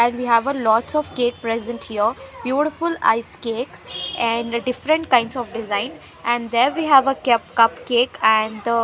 And we have lots of cake present here beautiful ice cakes and different kinds of design and there we have a kyap cup cake and the --